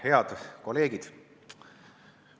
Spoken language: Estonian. Head kolleegid!